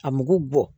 A mugu bɔ